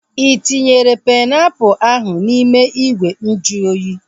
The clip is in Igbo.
Ị tinyere painiapulu ahu n'ime ìgwè nju oyi?